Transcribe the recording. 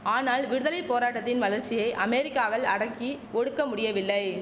ஆனால் விடுதலை போராட்டத்தின் வளர்ச்சியை அமெரிக்காவல் அடக்கி ஒடுக்க முடியவில்லை